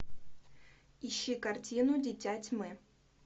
ищи картину дитя тьмы